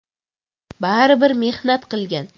Baribir mehnat qilgan.